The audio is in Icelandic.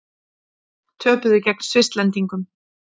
Töpuðu gegn Svisslendingum